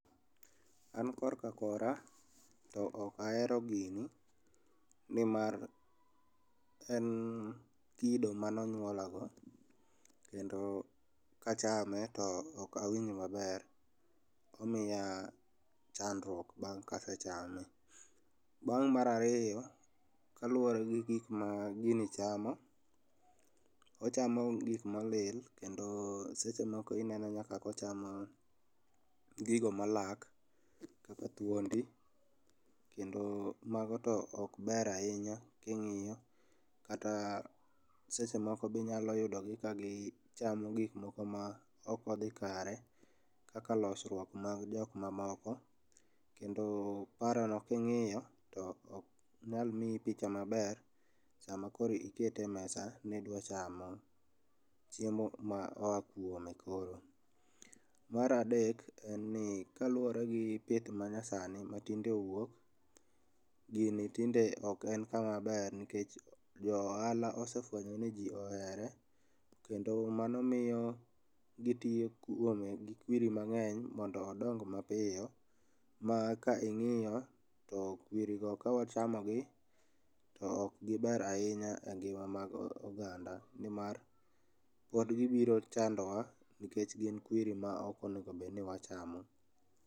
An kor ka kora, to ok ahero gini, ni mar en kido manonywola go, kendo kachame to ok awinj maber, omiya chandruok bang' kasechame. Bang' mar ariyo, kaluwore gi gikma gini chamo, ochamo gik molil kendo seche moko ineno nyaka kochamo gigo malak kaka thwondi, kendo mago to ok ber ahinya king'iyo, kata seche moko bende inyalo yudo ka gichamo gik mok odhi kare kaka losruok mag jok mamoko, kendo paro no king'iyo to ok nyal miyi picha maber saa ma koro ikete e mesa ni idwa chamo chiemo ma oa kwome koro. Mar adek en ni kaluwore gi pith ma nyasani ma tinde owuok gini tinde ok en kama ber nikech jo ohala oswefwenyo ni ji ohere kendo mano miyo gitio kwome gi kwiri mang'eny mondo odong mapiyo ma ka ing'iyo to kwiri go ka wachamo gi to ok giber ahinya e ngima mag oganda ni mar pod gibiro chandowa nikech gin kwiri ma ok onego bed ni wachamo.